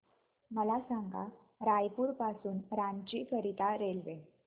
मला सांगा रायपुर पासून रांची करीता रेल्वे